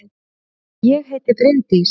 Ég heiti Bryndís!